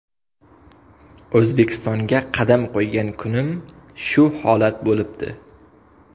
O‘zbekistonga qadam qo‘ygan kunim shu holat bo‘libdi.